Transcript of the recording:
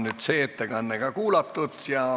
Nüüd on see ettekanne ka kuulatud.